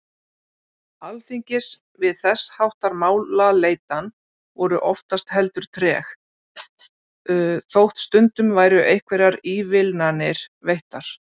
Alþingis við þess háttar málaleitan voru oftast heldur treg, þótt stundum væru einhverjar ívilnanir veittar.